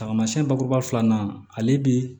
Tamasiyɛn bakuruba filanan ale bi